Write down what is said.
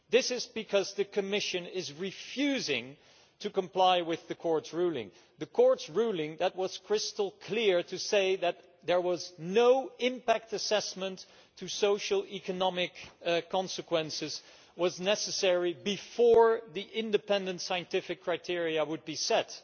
It is because the Commission is refusing to comply with the Court's ruling the Court's ruling that was crystal clear in saying that no impact assessment of the social and economic consequences was necessary before the independent scientific criteria would be set.